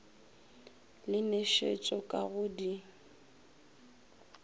le nošetšo ka go di